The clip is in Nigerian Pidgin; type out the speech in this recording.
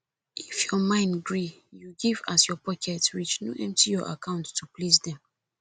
if your mind gree you give as your pocket reach no empty your account to please dem